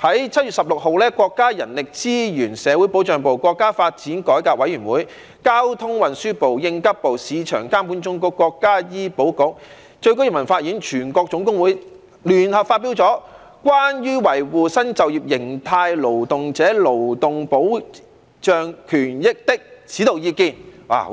在7月16日，國家人力資源和社會保障部、國家發展和改革委員會、交通運輸部、應急管理部、市場監督管理總局、國家醫療保障局、最高人民法院及中華全國總工會聯合發表了《關於維護新就業形態勞動者勞動保障權益的指導意見》